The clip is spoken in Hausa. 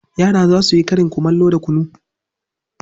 Yara za su yi karin kumallo da kunu.